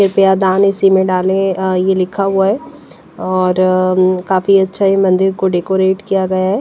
कृपया दान इसी में डालें ये अ लिखा हुआ है और अ काफी अच्छा यह मंदिर को डेकोरेट किया गया है।